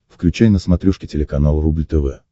включай на смотрешке телеканал рубль тв